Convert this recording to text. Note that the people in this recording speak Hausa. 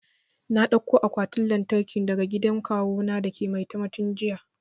Na dauko akwatin lantarkin daga gidan kawu na dake maitam tun jiya